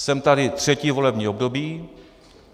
Jsem tady třetí volební období.